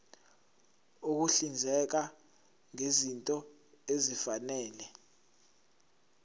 ukuhlinzeka ngezinto ezifanele